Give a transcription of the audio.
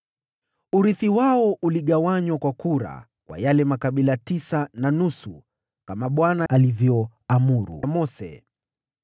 Urithi wao uligawanywa kwa kura kwa yale makabila tisa na nusu, kama Bwana alivyoamuru Mose.